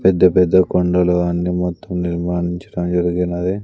పెద్ద పెద్ద కొండలు అన్ని మొత్తం నిర్మానించడం జరిగినది.